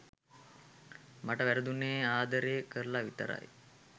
මට වැරදුණේ ආදරේ කරලා විතරයි.